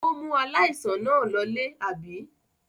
Ó mú aláìsàn náà lólè, àbí?